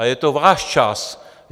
Ale je to váš čas.